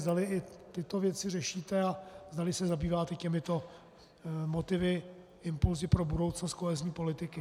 Zdali i tyto věci řešíte a zdali se zabýváte těmito motivy, impulsy pro budoucnost kohezní politiky.